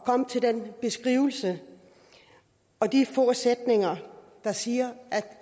komme til den beskrivelse og de få sætninger der siger at